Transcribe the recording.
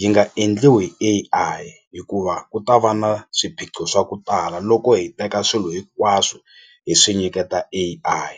yi nga endliwi hi A_I hikuva ku ta va na swiphiqo swa ku tala loko hi teka swilo hinkwaswo hi swi nyiketa A_I.